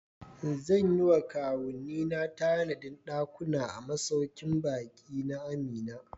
Zan yi wa kawunnina tanadin dakuna a masaukin baki na Amina.